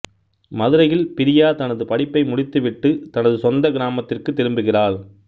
மதுரையில் பிரியா தனது படிப்பை முடித்துவிட்டு தனது சொந்த கிராமத்திற்கு திரும்புகிறாள்